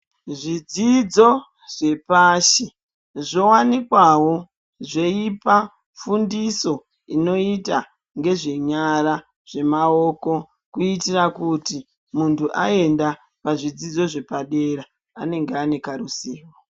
Zvidzidzo zvepashi zvowanikwawo zvichipa fundiso inoita ngezvenyara zvemaoko kuitira kuti muntu aenda pazvidzidzo zvepadera anenge anekaruzivo.